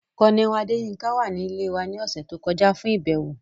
Colonel Adeyinka wa ni ile wa ni ọsẹ to kọja fun ibẹwo.